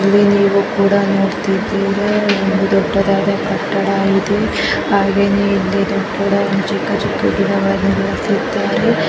ಇಲ್ಲಿ ನೀವು ಕೂಡ ನೋಡ್ತಿದೀರಾ ಒಂದು ದೊಡ್ಡದಾದ ಕಟ್ಟಡ ಇದೆ ಹಾಗೆನೇ ಇಲ್ಲಿ ಕೂಡಾ ಚಿಕ್ಕ ಚಿಕ್ಕ ಗಿಡಗಳೆಲ್ಲಾ ಬೆಳೆಸಿದ್ದಾರೆ.